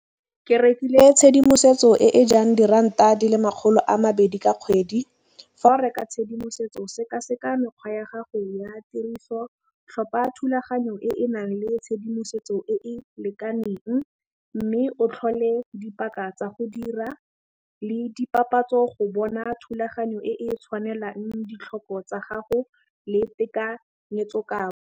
Ke rekile tshedimosetso e e jang diranta di le makgolo a mabedi ka kgwedi. Fa o reka tshedimosetso sekaseka mekgwa ya gago ya tiriso, tlhopha thulaganyo e e nang le tshedimosetso e e lekaneng, mme o tlhole dipaka tsa go dira le dipapatso go bona thulaganyo e e tshwanelang ditlhoko tsa gago le tekanyetso kabo.